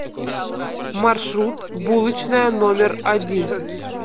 маршрут булочная номер один